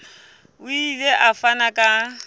o ile a fana ka